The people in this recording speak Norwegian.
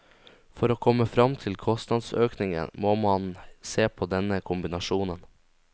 For å komme frem til kostnadsøkningen må man se på denne kombinasjonen.